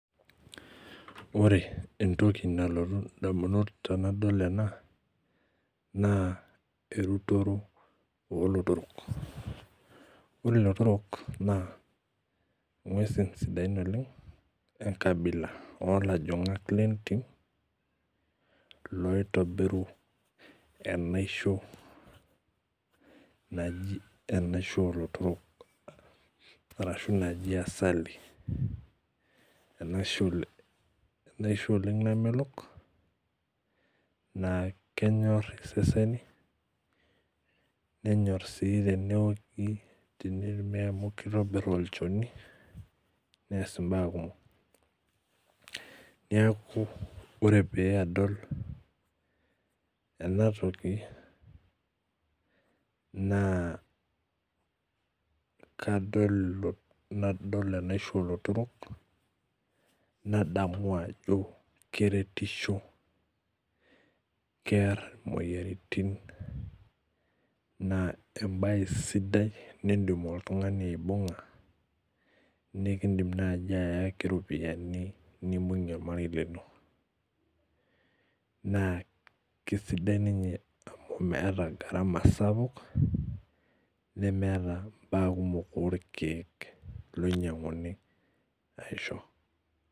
Orebentoki nalotu ndamunot tanadol ena na enturoto olotorok ore lotorok na ngwesi sidain oleng enkabila olajangak lentim oitobiru enasho naji emasiho olotorok ashu najibasali enaisho namelok nakenyor iseseni nenyor si teneoki amu kitobir olchoni neass mbaa kumok neaku ore paadol enatoki na kadol emasho olotorok nadamu ajo keretisho kear imoyiaritin ma embae sidai nindim oltungani aibunga nikindimi nai ayaki ropiyani na kesidai ninye amu meeta garama sapuk nemeeta mbaa kumol orkiek oinyanguni aisho.